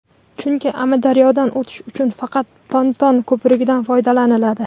chunki Amudaryodan o‘tish uchun faqat ponton ko‘prikdan foydalaniladi.